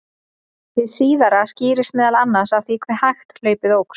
Hið síðara skýrist meðal annars af því hve hægt hlaupið óx.